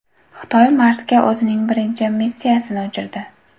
Xitoy Marsga o‘zining birinchi missiyasini uchirdi .